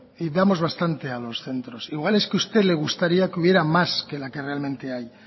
y vamos bastante a los centros igual es que a usted le gustaría que hubiera más que la que realmente hay